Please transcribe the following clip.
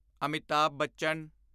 Amitabh Bachchan